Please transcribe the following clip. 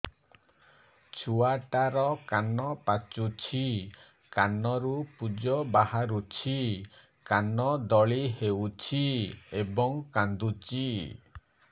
ଛୁଆ ଟା ର କାନ ପାଚୁଛି କାନରୁ ପୂଜ ବାହାରୁଛି କାନ ଦଳି ହେଉଛି ଏବଂ କାନ୍ଦୁଚି